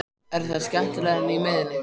Er það skemmtilegra en á miðjunni?